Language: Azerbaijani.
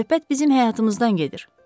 Söhbət bizim həyatımızdan gedir.